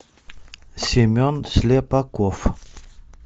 семен слепаков